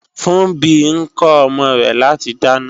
Funbí ń kọ́ ọmọ rẹ láti dáná